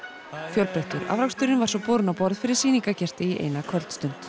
fjölbreyttur afrakstur var svo borinn á borð fyrir sýningargesti í eina kvöldstund